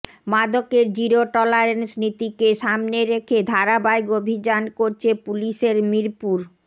মাদকের zero tolerance নীতিকে সামনে রেখে ধারাবাহিক অভিযান করছে পুলিশের মিরপুর